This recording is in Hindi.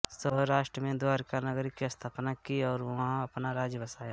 सौराष्ट्र में द्वारका नगरी की स्थापना की और वहाँ अपना राज्य बसाया